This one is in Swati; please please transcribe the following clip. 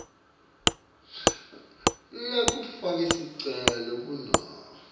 lekufaka sicelo kunobe